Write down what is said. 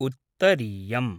उत्तरीयम्